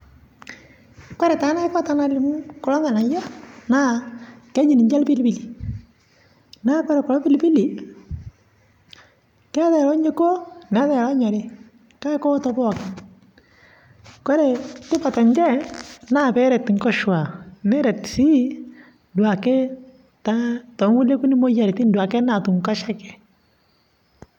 kore taa naiko kuloo nghanayoo naa kejii ninjee lpilipilii naa kore kuloo pilipilii keati lonyokuo naatai lonyorii kakee kooto pooki kore tipat enshee naa peeret nkoshua neret duake sii duake taa too nkulie kunii moyanitin duake naatum nkoshekee